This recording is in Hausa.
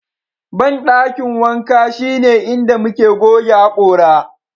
bandakin wanka shine inda muke goge hakora